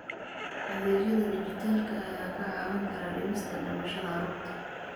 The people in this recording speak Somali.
Adeegyada dijitaalka ah ayaa kaa caawin kara dhimista dhimashada carruurta.